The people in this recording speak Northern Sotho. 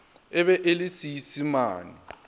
e be e le seisemane